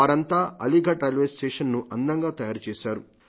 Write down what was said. వారంతా అలీఘర్ రైల్వేస్టేషన్ ను అందంగా తయారు చేశారు